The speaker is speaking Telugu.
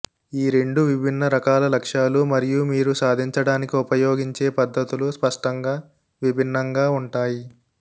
ఈ రెండు విభిన్న రకాల లక్ష్యాలు మరియు మీరు సాధించడానికి ఉపయోగించే పద్ధతులు స్పష్టంగా విభిన్నంగా ఉంటాయి